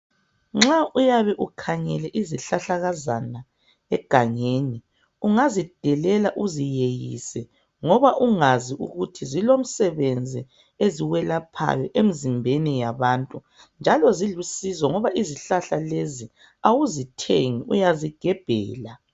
Nxa uyabe ukhangele izihlahlakazana egangeni .Ungazidelela uziyeyise ngoba ungazi ukuthi zilomsebenzi eziwelaphayo emzimbeni yabantu .Njalo zilusizo ngoba izihlahla lezi awuzithengi uyazigebhela .